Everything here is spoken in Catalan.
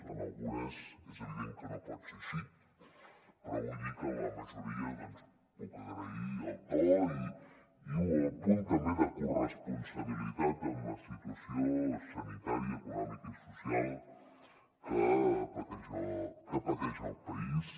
en algunes és evident que no pot ser així però vull dir que en la majoria doncs puc agrair el to i un apunt també de corresponsabilitat en la situació sanitària econòmica i social que pateix el país